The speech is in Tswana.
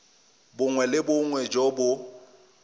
bongwe le bongwe jo bo